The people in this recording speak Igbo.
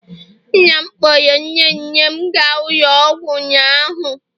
nna m kpọọrọ nne nne m gaa ụlọ ọgwụ ụnyaahụ